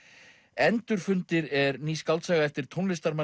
endurfundir er ný skáldsaga eftir tónlistarmanninn